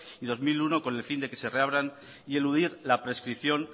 y dos mil uno con el fin de que se reabran y eludir la prescripción